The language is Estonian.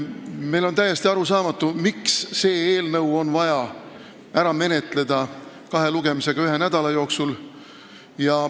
Meile on täiesti arusaamatu, miks on vaja see eelnõu ära menetleda kahe lugemisega ühe nädala jooksul.